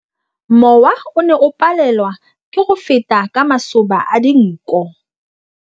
Mowa o ne o palelwa ke go feta ka masoba a dinko.